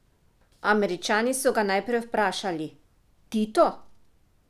Američani so ga najprej vprašali: 'Tito?